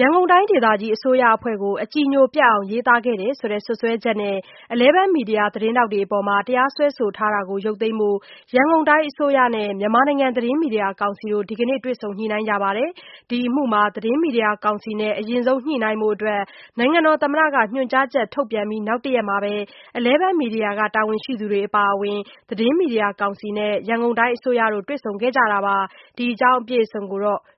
ရန်ကုန်တိုင်းဒေသကြီးအစိုးရအဖွဲ့ကို အကြည်ညိုပျက်အောင် ရေးသားခဲ့တယ်ဆိုတဲ့ စွပ်စွဲချက်နဲ့ Eleven Media သတင်းထောက်တွေအပေါ် တရားစွဲဆို ထားတာကို ရုပ်သိမ်းဖို့ ရန်ကုန်တိုင်းအစိုးရနဲ့ မြန်မာနိုင်ငံ သတင်း မီဒီယာကောင်စီတို့ ဒီနေ့ တွေ့ဆုံညှိနှိုင်းကြပါတယ်။ ဒီအမှုမှာ သတင်းမီဒီယာကောင်စီနဲ့ အရင်ဆုံး ညှိနှိုင်းဖို့ နိုင်ငံတော်သမ္မတက ညွှန်ကြားချက် ထုတ်ပြန်ပြီး နောက်တရက်မှာ Eleven Media က တာဝန်ရှိ သူတွေ အပါအဝင် သတင်းမီဒီယာကောင်စီနဲ့ တိုင်းအစိုးတို့ တွေ့ဆုံကြတာပါ။ ဒီအကြောင်းကို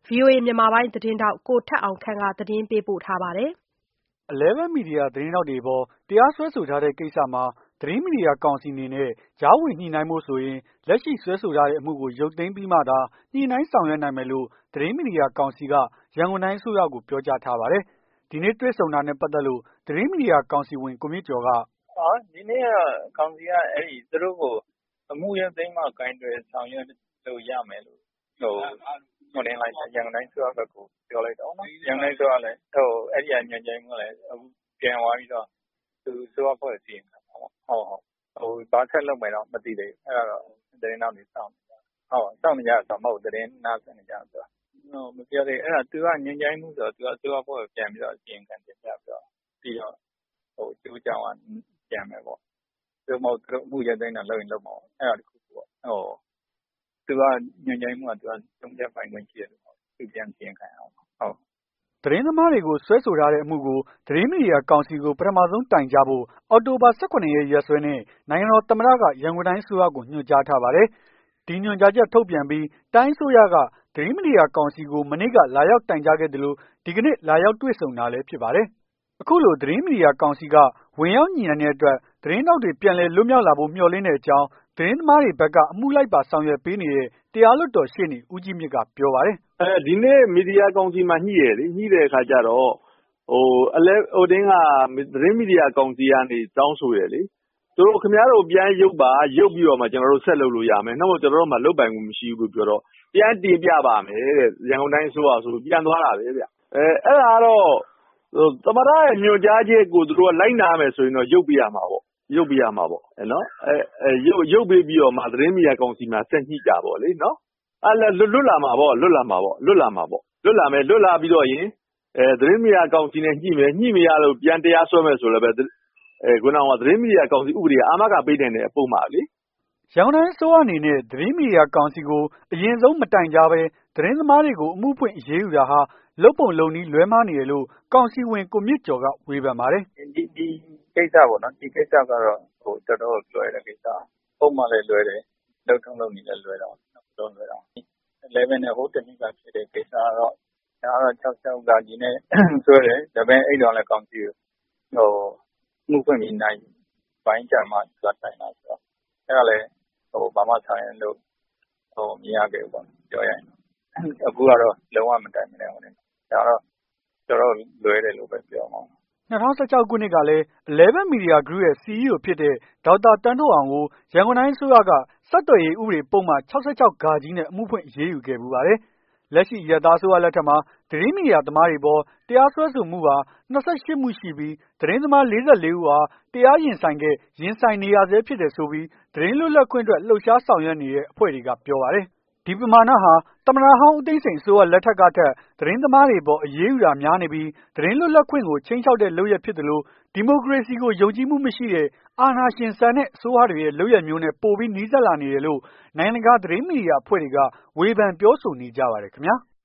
ဗွီအိုအေ မြန်မာပိုင်း သတင်းထောက် ကိုထက်အောင်ခန့်က သတင်းပေးပို့ထားပါတယ်။ Eleven Media သတင်းထောက်တွေအပေါ် တရားစွဲဆို ထားတဲ့ကိစ္စမှာ သတင်းမီဒီယာကောင်စီအနေနဲ့ ကြားဝင်ညှိနှိုင်းဖို့ဆိုရင် လက်ရှိစွဲဆိုထားတဲ့အမှုကို ရုပ်သိမ်းပြီးမှသာ ညှိနှိုင်းဆောင်ရွက်နိုင်မယ်လို့ သတင်းမီဒီယာ ကောင်စီက ရန်ကုန်တိုင်းအစိုးရကို ပြောကြားထားပါတယ်။ ဒီနေ့တွေ့ဆုံတာနဲ့ ပတ်သက်လို့ သတင်းမီဒီယာ ကောင်စီဝင် ကိုမြင့်ကျော်က- "ဒီနေ့က ကောင်စီက သူတို့ကို အမှုရုပ်သိမ်းမှ ကိုင်တွယ်ဆောင်ရွက်လို့ရမယ်လို့ ရန်ကုန်တိုင်း အစိုးရဘက်ကို ပြောလိုက်တော့ ရန်ကုန်တိုင်းအစိုးရကလည်း အဲ့ဒီက ညွှန်ကြားရေးမှူးကလည်း ပြန်သွားပြီးတော့ သူ အစိုးရ အဖွဲ့ကို အစီရင်ခံမှာပေါ့။ ဘာဆက်လုပ်မယ်တော့ မသိသေးဘူး။ အဲ့ဒါတော့ သတင်းထောက်တွေ စောင့်နေကြ တယ်။ စောင့်နေကြတယ်ဆိုတာ သတင်း နားစွင့်နေကြတာကိုပြောတာ။ မပြောသေးဘူး။ သူကညွှန်ကြားရေး မှူးဆိုတော့ အစိုးရအဖွဲ့ကို အစီရင်ခံတင်ပြပြီးတော့ အကျိုးအကြောင်း ပြန်မယ်ပေါ့။ သို့မဟုတ် သူတို့ အမှု ရုပ်သိမ်းတာ လုပ်ရင်လုပ်မှာပေါ့။ အဲ့ဒါတခုပေါ့။ သူက ညွှန်ကြားရေးမှူးက ဆုံးဖြတ်ပိုင်ခွင့်ရှိတဲ့သူမဟုတ်တော့ သူပြန်တင်ပြရမှာပေါ့။” သတင်းသမားတွေကို စွဲဆိုထားတဲ့အမှုကို သတင်း မီဒီယာကောင်စီကို ပထမဆုံး တိုင်ကြားဖို့ အောက်တိုဘာ ၁၇ ရက် ရက်စွဲနဲ့ နိုင်ငံတော် သမ္မတက ရန်ကုန်တိုင်းအစိုးရကို ညွှန်ကြားထားပါတယ်။ ဒီညွန်ကြားချက်ထုတ်ပြန်အပြီး တိုင်းအစိုးရက သတင်းမီဒီယာ ကောင်စီကို မနေ့က လာရောက် တိုင်ကြားခဲ့သလို ဒီကနေ့ လာရောက် တွေ့ဆုံတာလည်း ဖြစ်ပါတယ်။ အခုလို သတင်းမီဒီယာကောင်စီက ဝင်ရောက်ညှိနှိုင်းတဲ့အတွက် သတင်းထောက်တွေ ပြန်လည် လွတ် မြောက် လာဖို့ မျှော်လင့်တဲ့အကြောင်း သတင်းသမားတွေဘက်က အမှုလိုက်ပါ ဆောင်ရွက်ပေးနေတဲ့ တရားလွှတ် တော် ရှေ့နေ ဦးကြီးမြင့်က ပြောပါတယ်။ "ဒီနေ့ မီဒီယာကောင်စီမှာ ညှိတယ်လေ။ ညှိတဲ့အခါကျတော့- သတင်းမီဒီယာကောင်စီကနေ တောင်းဆိုတယ်ေ လ။ ခင်ဗျားတို့ပြန်ရုပ်ပါ။ ရုပ်ပြီးတော့ ကျနော်တို့ ဆက်လုပ်လို့ရမယ်။ နို့မို့ဆိုရင် ကျနော်တို့မှာ လုပ်ပိုင်ခွင့် မရှိဘူး လို့ပြောတော့ ပြန်တင်ပြပါ့မယ်-တဲ့။ ရန်ကုန်တိုင်းအစိုးရကိုဆိုပြီး ပြန်သွားတာပဲဗျ။ အဲ့ဒါကတော့ သမ္မတရဲ့ ညွှန်ကြားချက်ကို လိုက်နာရမယ်ဆိုရင်တော့ ရုပ်ပေးရမှာပေါ့။ ရုပ်ပေးရမှာပေါ့နော်။ ရုပ်ပေးပြီးတော့မှ သတင်းမီဒီယာကောင်စီမှာ ဆက်ညှိကြပေါ့လေ။ လွတ်လာမှာပေါ့။ လွတ်လာမှာပေါ့။ လွတ်လာမယ်။ လွတ်လာ ပြီးလို့ရှိရင် သတင်းမီဒီယာကောင်စီနဲ့ညှိမယ် ညှိမရဘူး ပြန်တရားစွဲ မယ်ဆိုရင်လည်း သတင်းမီဒီယာ ကောင်စီက အာမခံပေးနိုင်တဲ့ ပုဒ်မလေ။" ရန်ကုန်တိုင်းအစိုးရအနေနဲ့ သတင်းမီဒီယာကောင်စီကို အရင်ဆုံး မတိုင်ကြားဘဲ သတင်းသမားတွေကို အမှုဖွင့် အရေးယူတာဟာ လုပ်ပုံလုပ်နည်း လွဲမှားနေတယ်လို့ ကောင်စီဝင် ကိုမြင့်ကျော်က ဝေဖန်ပါတယ်။ "ဒီကိစ္စကတော့ တော်တော့ကိုလွဲတဲ့ကိစ္စပေါ့။ ပုဒ်မလည်းလွဲတယ်။ လုပ်ထုံးလုပ်နည်းလည်း လွဲတာပေါ့။ ၂ ခု လုံး လွဲတာပေါ့။ Eleven နဲ့ ဟိုးတနှစ်က ဖြစ်တဲ့ကိစ္စကတော့ ဒါကတော့ ၆၆ ဃ နဲ့စွဲတယ် အဲ့တုန်းက ကောင်စီကို အမှုဖွင့်ပြီး နာရီပိုင်းအကြာမှာ တိုင်တာဆိုတော့ အဲ့ဒါလည်း ဘာမှဆောင်ရွက်လို့ မရခဲ့ဘူး။ အခုကတော့ လုံး၀ မတိုင်ဘဲနဲ့ ဒါကတော့ တော်တော့်ကိုလွဲတယ်လို့ ပြောရမှာပေါ့။" ၂၀၁၆ ခုနှစ်ကလည်း Eleven Media Group ရဲ့ CEO ဖြစ်တဲ့ ဒေါက်တာ သန်းထွဋ်အောင်ကို ရန်ကုန်တိုင်း အစိုးရက ဆက်သွယ်ရေး ဥပဒေပုဒ်မ ၆၆ နဲ့ အမှုဖွင့်အရေးယူခဲ့ဘူးပါတယ်။ လက်ရှိ အရပ်သား အစိုးရ လက်ထက်မှာ သတင်းမီဒီယာသမားတွေအပေါ် တရားစွဲဆိုမှုဟာ ၂၈ မှုရှိပြီး သတင်းသမား ၄၄ ဦးဟာ တရားရင်ဆိုင်ခဲ့ ရင်ဆိုင်နေရဆဲဖြစ်တယ်ဆိုပြီး သတင်းလွတ်လပ်ခွင့်အတွက် လှုပ်ရှားဆောင်ရွက်နေတဲ့ အဖွဲ့တွေကပြောပါတယ်။ ဒီပမာဏာဟာ သမ္မတဟောင်း ဦးသိန်းစိန် အစိုးရလက်ထက်ထက်ကထက် သတင်းသမားတွေအပေါ် အရေးယူတာတွေ များနေပြီး သတင်းလွတ်လပ်ခွင့်ကို ခြိမ်းခြောက်တဲ့ လုပ်ရပ်ဖြစ်သလို၊ ဒီမိုကရေစီကို ယုံကြည်မှုမရှိတဲ့ အာဏာရှင်ဆန်တဲ့ အစိုးရတွေရဲ့ လုပ်ရပ်မျိုးနဲ့ ပိုပြီး နီးစပ်လာနေတယ်လို့ နိုင်ငံတကာ သတင်းမီဒီယာအဖွဲ့တွေက ဝေဖန်ပြောဆိုနေကြပါတယ်ခင်ဗျား။